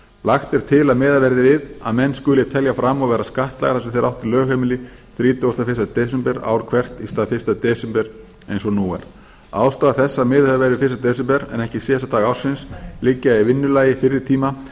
lagt er til að menn skuli telja fram og vera skattlagðir þar sem þeir áttu lögheimili þrítugasta og fyrsta desember ár hvert í stað fyrsta desember eins og nú er ástæður þess að miðað hefur verið við fyrsta desember en ekki síðasta dag ársins liggja í vinnulagi fyrri tíma en